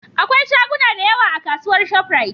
akwai shaguna da yawa a kasuwar shop rite